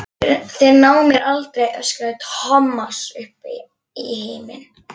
Þeir ná mér aldrei! öskraði Thomas upp í himininn.